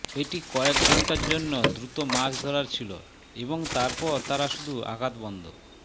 এটি কয়েক ঘন্টার জন্য দ্রুত মাছ ধরার ছিল এবং তারপর তারা শুধু আঘাত বন্ধ